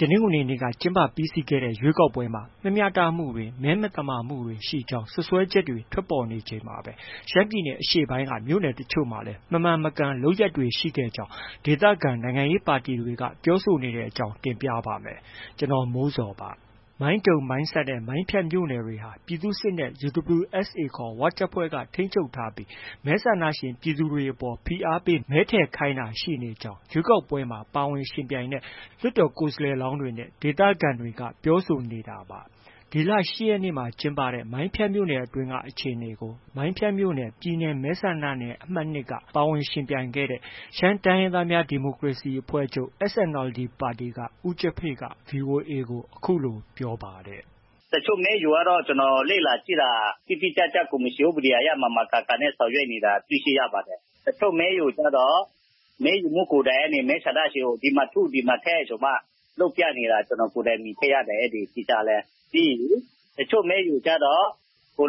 တနင်္ဂနွေနေ့က ကျင်းပပြီးစီးခဲ့တဲ့ ရွေးကောက်ပွဲမှာ မမျှတမှုတွေနဲ့ မဲမသမာမှုတွေ ရှိခဲ့ကြောင်း စွပ်စွဲချက်တွေ ထွက်ပေါ်နေချိန်မှာပဲ ရှမ်းပြည်နယ် အရှေ့ပိုင်းက မြို့နယ်တချို့မှာလည်း မမှန်မကန်လုပ်ရပ်တွေ ရှိခဲ့ကြောင်း ဒေသခံနိုင်ငံရေး ပါတီတွေ ပြောဆိုနေတဲ့အကြောင်း တင်ပြပါမယ်။ ဗွီအိုအေမြန်မာပိုင်းသတင်းထောက် ကိုမိုးဇော်က သတင်းပေးပို့ထားပါတယ်။ မိုင်းတုံ၊ မိုင်းဆတ်နဲ့ မိုင်းဖြတ်မြို့နယ်တွေဟာ ပြည်သူ့စစ်နဲ့ UWSA ခေါ် ၀ တပ်ဖွဲ့က ထိန်းချုပ်ထားပြီး မဲဆန္ဒရှင် ပြည်သူတွေအပေါ် ဖိအားပေး မဲထည့်ခိုင်းတာတွေ ရှိနေကြောင်း ရွေးကောက်ပွဲမှာ ပါဝင်ယှဉ်ပြိုင်ခဲ့တဲ့ လွှတ်တော်ကိုယ်စားလှယ်လောင်းတွေက ပြောဆိုနေတာပါ။ ဒီလ ၈ ရက်နေ့မှာ ကျင်းပတဲ့ မိုင်းဖြတ်မြို့နယ်အတွင်းကအခြေအနေကို မိုင်းဖြတ်မြို့နယ် ပြည်နယ်မဲဆန္ဒနယ် အမှတ် ၂ က ပါဝင်ယှဉ်ပြိုင်ခဲ့တဲ့ ရှမ်းတိုင်းရင်းသားများ ဒီမိုကရေစီအဖွဲ့ချုပ် SNLD က ဦးကျဖေ့က VOA ကို အခုလို ပြောပါတယ်။ “တချို့မဲရုံကတော့ ကျနော်လေ့လာကြည့်တာ တိတိကျကျ ကော်မရှင်ဥပဒေအရ မှန်မှန်ကန်ကန် ဆောင်ရွက်နေတာ တွေ့ရှိရပါတယ်။ တချို့ မဲရုံကျတော့ မဲရုံမှူးကိုယ်တိုင်က မဲဆန္ဒရှင်ကို ဒီမှာထု ဒီမှာထည့်ဆိုပြီးမှ လုပ်ပြနေတာ ကျနော်ကိုယ်တိုင်မြင်တွေ့ရတယ်။ ပြီးရင် တချို့ မဲရုံကျတော့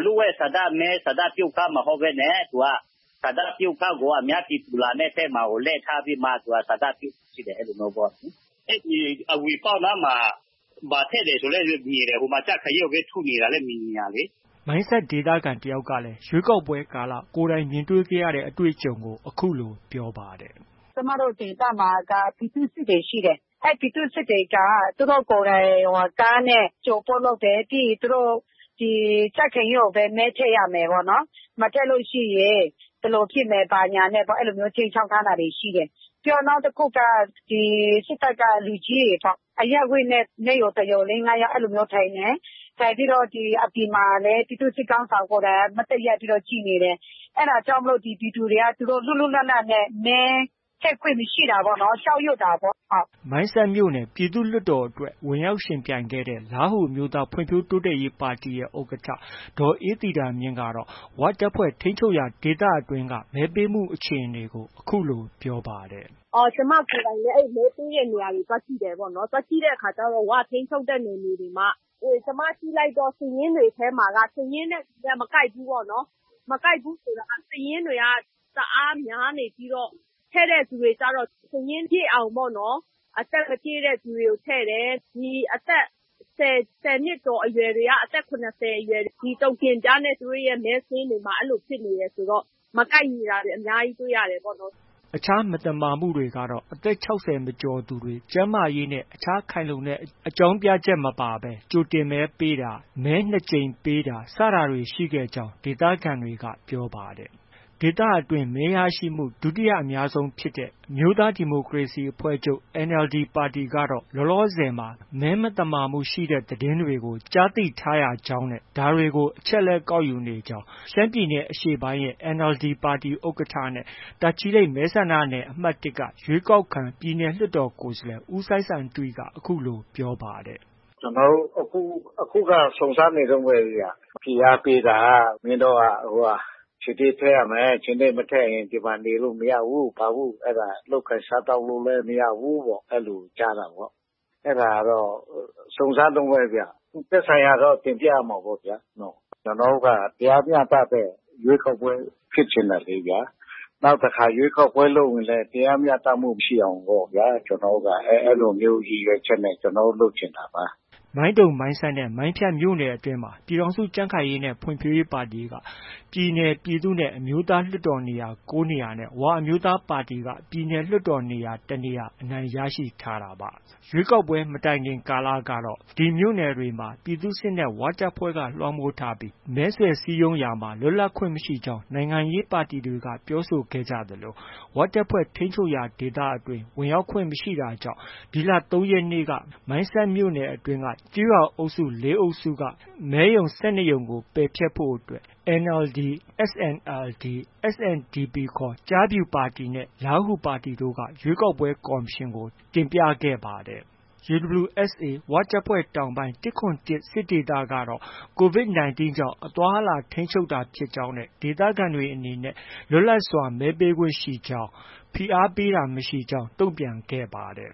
လျှို့ဝှက်ဆန္ဒမဲ ဆန္ဒပြုခန်းမဟုတ်ဘဲနဲ့ ဆန္ဒပြုခန်းကို အများပြည်သူလာတဲ့ဘက်မှာကို လှည့်ထားပြီးတော့ ဆန္ဒပြုခိုင်းတယ် အဲဒီလိုမျိုးပေါ့။” မိုင်းဆတ်ဒေသခံ တစ်ယောက်ကလည်း ရွေးကောက်ပွဲကာလ ကိုယ်တိုင်မြင်ခဲ့ရတဲ့ အတွေ့အကြုံကို အခုလို ပြောပါတယ်။ “ကျမတို့ ဒေသမှာက ပြည်သူ့စစ်တွေ ရှိတယ်။ အဲဒီပြည်သူ့စစ်တွေက သူတို့ကိုယ်တိုင် ကားနဲ့ အကြိုအပို့လုပ်တယ်။ ပြီးရင် သူတို့ ကြံ့ခိုင်ရေးကိုပဲ မဲထည့်ရမယ်ပေါ့နော်။ မထည့်လို့ရှိရင် ဘယ်လိုဖြစ်မယ်၊ ဘာညာနဲ့ အဲဒီလိုမျိုးခြိမ်းခြောက်ထားတာတွေ ရှိတယ်။ ပြီးနောက်တစ်ခုက စစ်တပ်က လူကြီးတွေပေါ့။ အဲဒီ အရပ်ဝတ်နဲ့ မဲရုံ တစ်ရုံ လေး၊ ငါးယောက် အဲဒီလိုမျိုးထိုင်တယ်။ ထိုင်ပြီးတော့ အပြင်မှာလည်း ပြည်သူစစ်ခေါင်းဆောင်က မတ်တပ်ရပ်ပြီး ကြည့်နေတယ်။ အဲဒါကြောင့်မို့ ပြည်သူတွေက လွတ်လွတ်လပ်လပ်နဲ့ မဲထည့်ခွင့်မရှိတာပေါ့။ အဲဒီ ကြောက်ရွံ့တာပေါ့။” မိုင်းဆတ်မြို့နယ် ပြည်သူ့လွှတ်တော်မှာ ဝင်ရောက်ယှဉ်ပြိုင်ခဲ့တဲ့ လားဟူအမျိုးသားဖွံ့ဖြိုးတိုးတက်ရေး ပါတီရဲ့ ဥက္ကဋ္ဌ ဒေါ်အေးသီတာမြင့်ကတော့ ဝတပ်ဖွဲ့ ထိန်းချုပ်ရာဒေသအတွင်းက မဲပေးမှုအခြေအနေကို အခုလို ပြောပါတယ်။ “ကျမကိုယ်တိုင်လည်း အဲဒီမဲပေးတဲ့နေရာတွေ သွားကြည့်တဲ့အခါကျတော့ အဲဒီ ၀ ထိန်းချုပ်တဲ့နယ်မြေတွေမှာ ကျမကြည့်လိုက်တော့ စာရင်းတွေထဲမှာက စာရင်းနဲ့ လူနဲ့ မကိုက်ဘူးပေါ့နော်။ မကိုက်ဘူးဆိုတာက စာရင်းတွေက တအားများနေပြီးတော့ ထည့်တဲ့သူတွေကျတော့ စာရင်းပြည့်အောင်ပေါ့နော် အသက်မပြည့်တဲ့သူတွေကို ထည့်တယ်။ ဒီ အသက် ၁၀ နှစ်ကျော်အရွယ်တွေက အသက် ၇၀ ကျော်အရွယ် ဒီတိုကင်ပြားနဲ့ သူတို့ရဲ့ မဲစာရင်းတွေမှာ အဲဒီလိုဖြစ်နေတယ်ဆိုတော့ မကိုက်ညီတာတွေ အများကြီးတွေ့ရတယ်ပေါ့နော်။” အခြား မသမာမှုတွေကတော့ အသက် ၆၀ မကျော်သူတွေ၊ ကျန်းမာရေးနဲ့ အခြားခိုင်လုံတဲ့ အကြောင်းပြချက်မပါဘဲ မဲပေးသူတွေ၊ မဲနှစ်ကြိမ်ပေးသူတွေ ရှိကြောင်းလည်း ဒီဒေသခံတွေက ပြောပါတယ်။ ဒီဒေသအတွင်း မဲရရှိမှု ဒုတိယအများဆုံးဖြစ်တဲ့ NLD အမျိုးသားဒီမိုကရေစီအဖွဲ့ချုပ်ပါတီကတော့ လောလောဆယ်မှာ မဲမသမာမှုရှိတဲ့ သတင်းတွေ ကြားသိထားရကြောင်းနဲ့ ဒါတွေကို အချက်အလက် ကောက်ယူနေကြောင်း ရှမ်းပြည်နယ်အရှေ့ပိုင်းရဲ့ ဥက္ကဋ္ဌ နဲ့ တာချီလိတ် မဲဆန္ဒနယ်အမှတ် ၁က ရွေးကောက်ခံ ပြည်နယ်လွှတ်တော်ကိုယ်စားလှယ် ဦးစိုင်းဆိုင်တွီက ပြောပါတယ်။ “ကျနော်တို့ အခုက စုံစမ်းနေတုန်းပဲဗျ။ ဖိအားပေးတာ မင်းတို့က ခြင်္သေ့ထည့်ရမယ်။ ခြင်္သေ့မထည့်ရင် ဒီမှာ နေလို့ မရဘူး၊ ဘာဘူး၊ အဲဒါ လုပ်ကိုင်စားသောက်လို့လည်း မရဘူး။ အဲလိုကြားတာပေါ့။ အဲဒါကတော့ စုံစမ်းတုန်းပဲဗျ။ သက်ဆိုင်ရာကတော့ တင်ပြရမှာပေါ့။ ကျနော်တို့ တရားမျှတတဲ့ ရွေးကောက်ပွဲဖြစ်ချင်တယ်လေဗျာ။ နောက်တစ်ခါ ရွေးကောက်ပွဲလုပ်ရင်လည်း တရားမျှတမှုရှိအောင်ပေါ့ဗျာ။ ကျနော်တို့က အဲဒီလိုမျိုးရည်ရွယ်ချက်နဲ့ ကျနော်တို့ လုပ်ချင်တာပါ။” မိုင်းတုံ၊ မိုင်းဆတ်နဲ့ မိုင်းဖြတ်မြို့နယ်မှာ ပြည်ထောင်စုကြံ့ခိုင်ရေးနဲ့ ဖွံ့ဖြိုးရေးပါတီက ပြည်နယ်၊ ပြည်သူ့နဲ့ အမျိုးသား လွှတ်တော် နေရာ ၉ နေရာနဲ့ ဝအမျိုးသားပါတီက ပြည်နယ်လွှတ်တော် ၁ နေရာအနိုင်ရရှိထားတာပါ။ ဒီမြို့နယ်တွေမှာ ပြည်သူ့စစ်နဲ့ ဝတပ်ဖွဲ့တွေက လွှမ်းမိုးထားပြီး မဲဆွယ်စည်းရုံးရာမှာ လွတ်လပ်ခွင့်မရှိကြောင်း နိုင်ငံရေးပါတီတွေက ပြောဆိုထားကြသလို ၀ တပ်ဖွဲ့ထိန်းချုပ်ရာဒေသအတွင်း ဝင်ရောက်ခွင့်မပြုတာကြောင့် ဒီလ ၃ ရက်နေ့က မိုင်းဆတ်မြို့နယ် ကျေးရွာအုပ်စု ၄ စုအတွင်းက မဲရုံ ၁၂ ရုံကို ပယ်ဖျက်ဖို့ NLD ၊ SNLD ၊ SNDP ခေါ် ကျားဖြူပါတီနဲ့ လားဟူပါတီတို့က ရွေးကောက်ပွဲကော်မရှင်ထံကို တင်ပြခဲ့ပါတယ်။ UWSA တောင်ပိုင်း ၁၇၁ စစ်ဒေသကတော့ COVID 19 ကြောင့် အသွား၊ အလာထိန်းချုပ်တာဖြစ်ကြောင်းနဲ့ ဒေသခံတွေအနေနဲ့ လွတ်လပ်စွာမဲပေးခွင့်ရှိကြောင်း။ ဖိအားပေးတာမရှိကြောင်း တုံ့ပြန်ခဲ့ပါတယ်